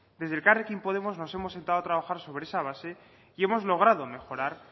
desde elkarrekin podemos nos hemos sentado a trabajar sobre esa base y hemos logrado mejorar